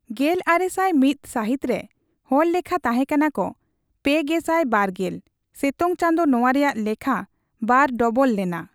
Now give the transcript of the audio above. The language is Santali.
ᱜᱮᱞᱟᱨᱮᱥᱟᱭ ᱢᱤᱛ ᱥᱟᱹᱦᱤᱛ ᱨᱮ ᱦᱚᱲ ᱞᱮᱠᱷᱟ ᱛᱟᱦᱮᱸᱠᱟᱱᱟ ᱠᱚ ᱯᱮᱜᱮᱥᱟᱭ ᱵᱟᱨᱜᱮᱞ ᱥᱮᱛᱳᱝ ᱪᱟᱸᱫᱳ ᱱᱚᱣᱟ ᱨᱮᱭᱟᱜ ᱞᱮᱠᱷᱟ ᱵᱟᱨ ᱰᱚᱵᱚᱞ ᱞᱮᱱᱟ ᱾